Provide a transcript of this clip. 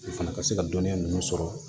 U fana ka se ka dɔnniya ninnu sɔrɔ